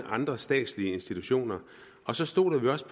andre statslige institutioner og så stoler vi også